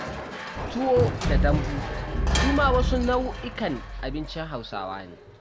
Tuwo da dambu su ma wasu nau'ikan abincin hausawa ne